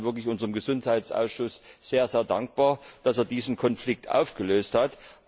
Ich bin also wirklich unserem Gesundheitsausschuss sehr dankbar, dass er diesen Konflikt gelöst hat.